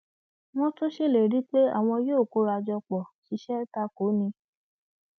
wọn tún ṣèlérí pé àwọn yóò kóra jọ pọ ṣiṣẹ ta kò ó ní